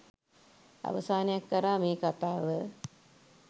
අවසානයක් කරා මේ කතාව